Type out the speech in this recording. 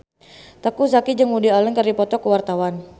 Teuku Zacky jeung Woody Allen keur dipoto ku wartawan